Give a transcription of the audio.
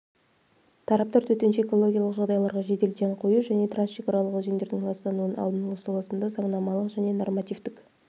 тараптар төтенше экологиялық жағдайларға жедел ден қою және трансшекаралық өзендердің ластануын алдын алу саласында заңнамалықжәне нормативтік